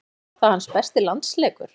Var það hans besti landsleikur?